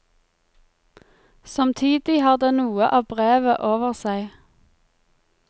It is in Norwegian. Samtidig har den noe av brevet over seg.